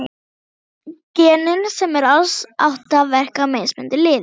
Genin, sem eru alls átta, verka á mismunandi liði.